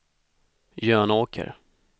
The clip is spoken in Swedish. Jönåker